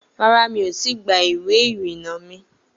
Rárá, mi ò tí ì gba ìwé-ìrìnà mi